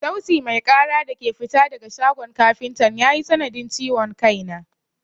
Sauti mai ƙara da ke fita daga shagon kafintan ya yi sanadin ciwon kai na.